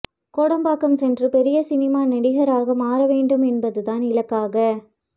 கோடம்பாக்கம் சென்று பெரிய சினிமா நடிகராக மாற வேண்டும் என்பது தான் இலக்காக